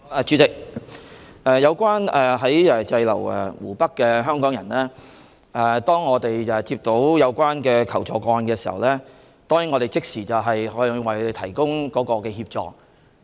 主席，有關滯留在湖北的香港人，當我們接到求助個案時，已即時向他們提供協助。